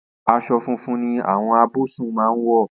As̩o̩ funfun ni àwo̩n abò̩s̩un máa ń wò̩